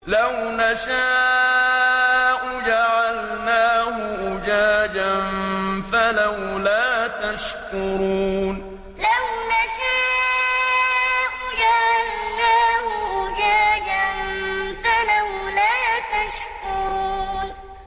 لَوْ نَشَاءُ جَعَلْنَاهُ أُجَاجًا فَلَوْلَا تَشْكُرُونَ لَوْ نَشَاءُ جَعَلْنَاهُ أُجَاجًا فَلَوْلَا تَشْكُرُونَ